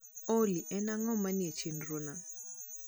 olly en ang`o manie chenro na?